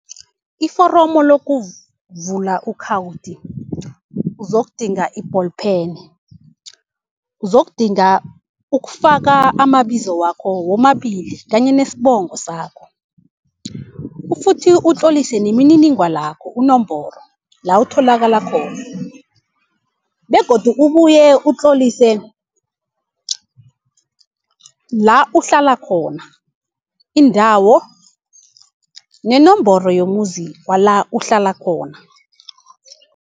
Iforomo lokuvula ukhawuthi uzokudinga i-ball pen, uzokudinga ukufaka amabizo wakho womabili kanye nesibongo sakho ufuthi utlolise nemininingwanakho, unomboro la utholakala khona. Begodu ubuye utlolise la uhlala khona, indawo nenomboro yomuzi wala uhlala khona.